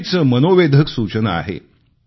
मोठीच मनोवेधक सूचना आहे